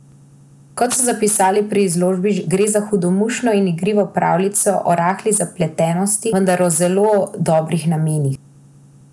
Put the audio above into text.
Kot so zapisali pri založbi, gre za hudomušno in igrivo pravljico o rahli zaslepljenosti, vendar o zelo dobrih namenih.